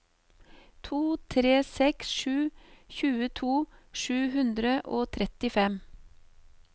to tre seks sju tjueto sju hundre og trettifem